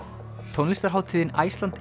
tónlistarhátíðin Iceland